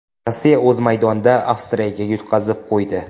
Rossiya o‘z maydonida Avstriyaga yutqazib qo‘ydi.